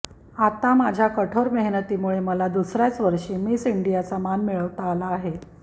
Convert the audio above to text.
आता माझ्या कठोर मेहनतीमुळे मला दुसऱयाच वर्षी मिस इंडियाचा मान मिळवता आला आहे